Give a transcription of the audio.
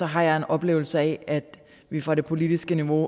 har jeg en oplevelse af at vi fra det politiske niveau